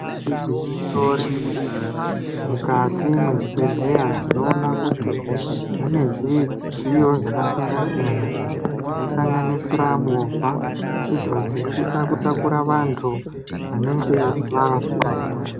Igwinyiso remene mene mukati mezvibhedhlera tinoona kuti mune zvidziyo zvakasiyana siyana zvinosanganisira movha idzo dzinositsa kutakura vanhu vanenge vazwa hosha.